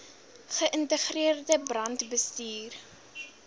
ge ïntegreerde brandbestuur